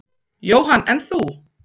Jóhann: En þú?